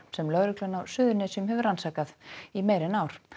sem lögreglan á Suðurnesjum hefur rannsakað í meira en ár